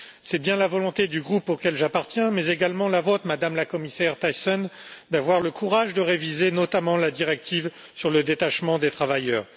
C'est bien la volonté du groupe auquel j'appartiens, mais également la vôtre, Madame la Commissaire Thyssen, d'avoir le courage de réviser notamment la directive sur le détachement des travailleurs.